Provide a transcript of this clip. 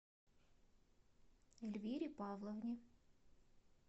эльвире павловне